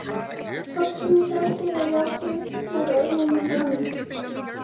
Hvort sem ég þrætti eða játti voru örlög mín ráðin.